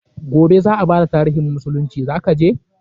Gobe za a bada tarihin musulunci, za ka je?